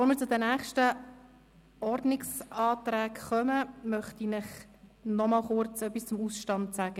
Bevor wir zu den nächsten Ordnungsanträgen kommen, möchte ich Ihnen noch etwas zum Ausstand mitteilen.